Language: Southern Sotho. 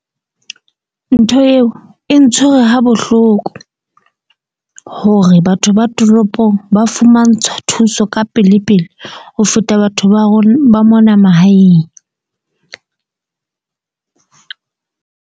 Ntho eo e ntshwere ha bohloko hore batho ba toropong ba fumantshwa thuso ka pele pele, ho feta batho ba ba mona mahaeng .